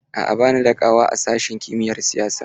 A'a, ba ni da ƙawa a sashin kimiyar siyasa.